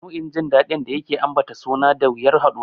Nau'in jin daɗin da yake ambata suna da wuyar haɗuwa.